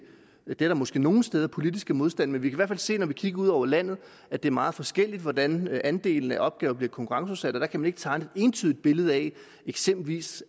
er der måske nogle steder politisk modstand men vi kan sige når vi kigger ud over landet at det er meget forskelligt hvordan andelen af opgaver bliver konkurrenceudsat og der kan man ikke tegne et entydigt billede af at eksempelvis